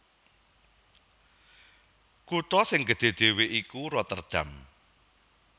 Kutha sing gedhé dhéwé iku Rotterdam